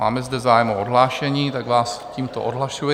Máme zde zájem o odhlášení, tak vás tímto odhlašuji.